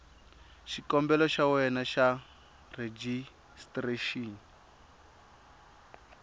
xikombelo xa wena xa rejistrexini